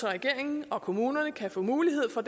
at regeringen og kommunerne kan få mulighed for